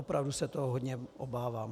Opravdu se toho hodně obávám.